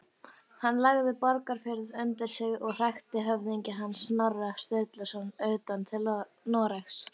Hann lagði Borgarfjörð undir sig og hrakti höfðingja hans, Snorra Sturluson, utan til Noregs.